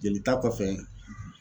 Jelita kɔfɛ